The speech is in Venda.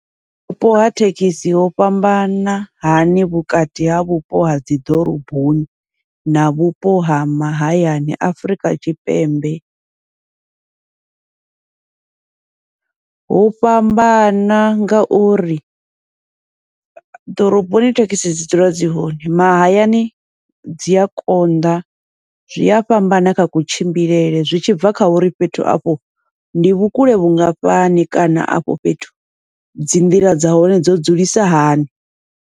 Vhupo ha thekhisi ho fhambana hani vhukati ha vhupo ha dzi ḓoroboni na vhupo ha mahayani Afurika Tshipembe, hu fhambana ngauri ḓoroboni thekhisi dzi dzula dzi hone, mahayani dzi a konḓa zwi a fhambana kha kutshimbilele zwi tshibva kha uri fhethu afho ndi vhukule vhungafhani, kana afho fhethu dzi nḓila dza hone dzo dzulisa hani.